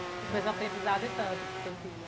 Acho que vai ser um aprendizado e tanto para o seu filho.